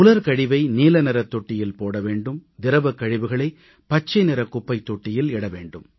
உலர் கழிவை நீலநிறத் தொட்டியில் போட வேண்டும் திரவக் கழிவுகளை பச்சை நிறக் குப்பைத் தொட்டியில் இட வேண்டும்